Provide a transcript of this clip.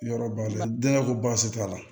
Yɔrɔ ba de ko baasi t'a la